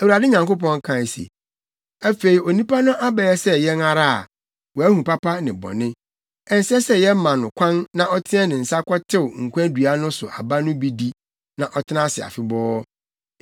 Awurade Nyankopɔn kae se, “Afei, onipa no abɛyɛ sɛ yɛn ara a, wahu papa ne bɔne. Ɛnsɛ sɛ yɛma no kwan na ɔteɛ ne nsa kɔtew nkwa dua no so aba no bi di, na ɔtena ase afebɔɔ.”